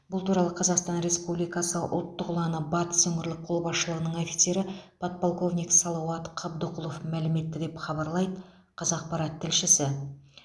бұл туралы қазақстан республикасы ұлттық ұланы батыс өңірлік қолбасшылығының офицері подполковник салауат қабдықұлов мәлім етті деп хабарлайды қазақпарат тілшісі